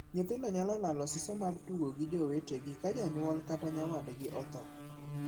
Nyithindo nyalo lalo siso mar tugo gi jowetegi ka janyuol kata nyawadgi othoo.